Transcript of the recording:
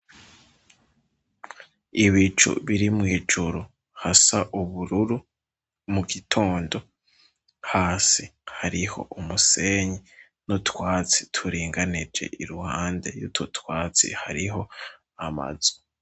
Ibicu biri mw'ijuru, hasa ubururu mu gitondo, hasi hariho umusenyi n'utwatsi turinganije. Iruhande y'utu twatsi hariho amazu.